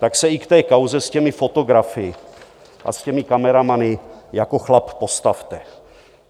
Tak se i k té kauze s těmi fotografy a s těmi kameramany jako chlap postavte.